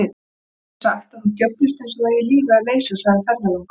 Mér er sagt að þú djöflist eins og þú eigir lífið að leysa, segir ferðalangur.